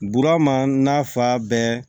Burama n'a fa bɛɛ